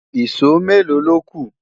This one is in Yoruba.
ìsọ Melo lóku?